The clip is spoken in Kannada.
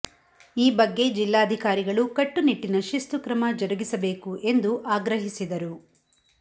ಈ ಬಗ್ಗೆ ಜಿಲ್ಲ್ಲಾಧಿಕಾರಿಗಳು ಕಟ್ಟುನಿಟ್ಟಿನ ಶಿಸ್ತು ಕ್ರಮ ಜರುಗಿಸಬೇಕು ಎಂದು ಆಗ್ರಹಿಸಿದರು